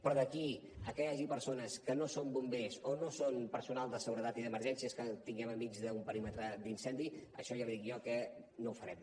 però d’aquí a que hi hagi persones que no són bombers o no són personal de seguretat i d’emergències que tinguem enmig d’un perímetre d’incendi això ja li dic jo que no ho farem